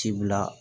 Ci bila